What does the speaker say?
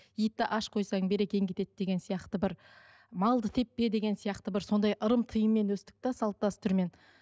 итті аш қойсаң берекең кетеді деген сияқты бір малды теппе деген сияқты бір сондай ырым тыйыммен өстік те салт дәстүрмен